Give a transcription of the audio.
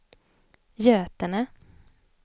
Götene